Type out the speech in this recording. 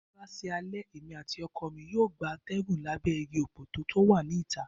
Bí ó bá sí alé, èmi àti oko mi yóò gba atégùn lábé igi òpòtó tó wà ní ìta